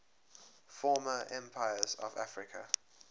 former empires of africa